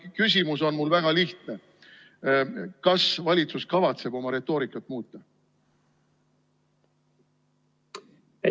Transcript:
Ja küsimus on mul väga lihtne: kas valitsus kavatseb oma retoorikat muuta?